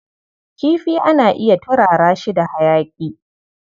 Kifi ana iya turara shi da hayaƙi.